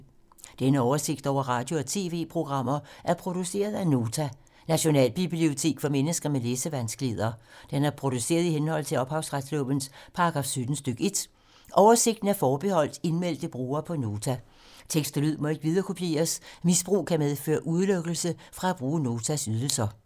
Denne oversigt over radio og TV-programmer er produceret af Nota, Nationalbibliotek for mennesker med læsevanskeligheder. Den er produceret i henhold til ophavsretslovens paragraf 17 stk. 1. Oversigten er forbeholdt indmeldte brugere på Nota. Tekst og lyd må ikke viderekopieres. Misbrug kan medføre udelukkelse fra at bruge Notas ydelser.